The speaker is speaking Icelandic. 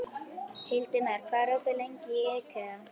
Hildimar, hvað er opið lengi í IKEA?